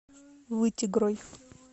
вытегрой